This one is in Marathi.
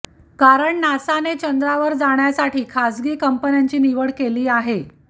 कारण नासाने चंद्रावर जाण्यासाठी खासगी कंपन्यांची निवड केली आहे